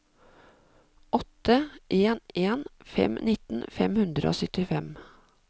åtte en en fem nitten fem hundre og syttifem